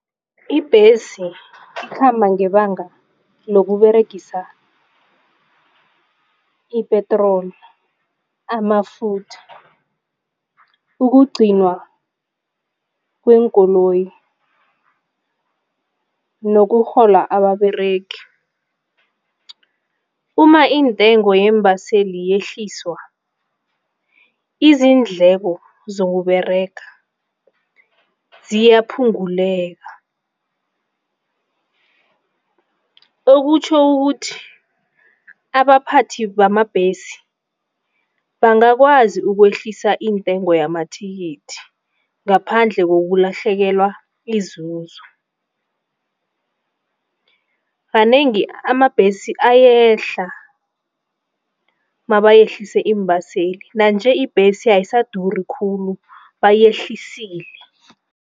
Ibhesi ikhamba ngebanga lokuberegisa ipetroli, amafutha. Ukugcinwa kweenkoloyi nokurhola ababeregi. Umma intengo yeembaseli yehliswa, iindleko zokuberega ziyaphunguleka. Okutjho ukuthi abaphathi bamabhesi bangakwazi ukwehlisa iintengo yamathikithi ngaphandle kokulahlekelwa yinzuzo. Kanengi amabhesi ayehla mabayehlise iimbaseli. Nanje ibhesi ayisaduri khulu bayehlisile.